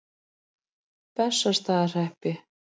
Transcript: Bessastaðahreppi